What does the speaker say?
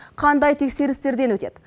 қандай тексерістерден өтеді